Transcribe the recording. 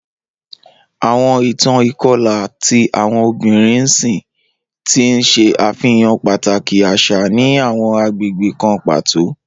Awọn itan ikọla ti awọn obinrin n ṣii, ti n ṣe afihan pataki aṣa ni awọn agbegbe kan pato.